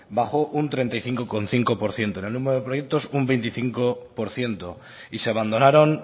bajo un treinta y cinco coma cinco por ciento en el número de proyectos un veinticinco por ciento y se abandonaron